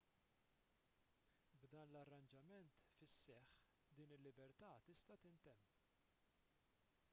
b'dan l-arranġament fis-seħħ din il-libertà tista' tintemm